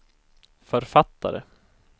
författare